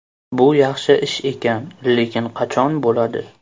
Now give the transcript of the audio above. Bu yaxshi ish ekan, lekin qachon bo‘ladi?